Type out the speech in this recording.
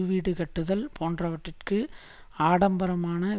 வீடு கட்டுதல் போன்றவற்றிற்கு ஆடம்பரமான